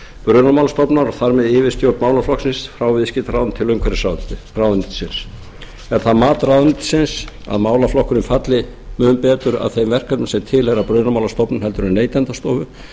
brunamálastofnunar og þar með yfirstjórn málaflokksins frá viðskiptaráðuneyti til umhverfisráðuneytis er það mat ráðuneytisins að málaflokkurinn falli mun betur að þeim verkefnum sem tilheyra brunamálastofnun heldur en neytendastofu